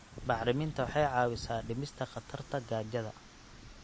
Bacriminta waxay caawisaa dhimista khatarta gaajada.